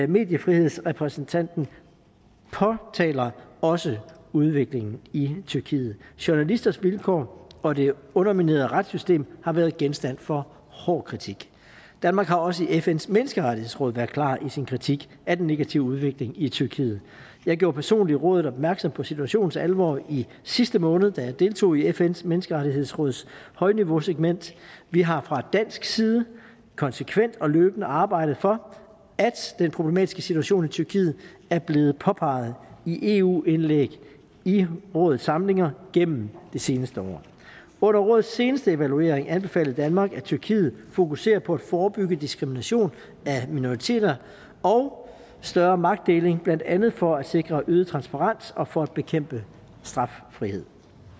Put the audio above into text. mediefrihedsrepræsentanten påtaler også udviklingen i tyrkiet journalisters vilkår og det underminerede retssystem har været genstand for hård kritik danmark har også i fns menneskerettighedsråd været klar i sin kritik af den negative udvikling i tyrkiet jeg gjorde personligt rådet opmærksom på situationens alvor i sidste måned da jeg deltog i fns menneskerettighedsråds højniveausegment vi har fra dansk side konsekvent og løbende arbejdet for at den problematiske situation i tyrkiet er blevet påpeget i eu indlæg i rådets samlinger igennem det seneste år under rådets seneste evaluering anbefalede danmark at tyrkiet fokuserer på at forebygge diskrimination af minoriteter og større magtdeling blandt andet for at sikre øget transparens og for at bekæmpe straffrihed